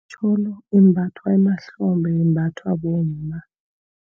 Itjholo imbathwa emahlombe, imbathwa bomma.